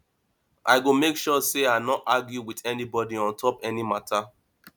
i go make sure sey i no argue wit anybodi on top any mata